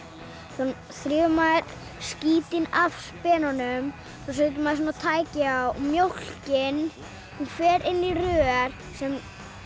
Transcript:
þá þrífur maður skítinn af spenunum svo setur maður tæki á mjólkin fer inn í rör sem